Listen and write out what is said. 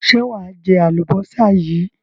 Ṣé wà á jẹ àlùbọ́sà yìí?